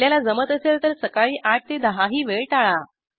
आपल्याला जमत असेल तर सकाळी ८ ते १० ही वेळ टाळा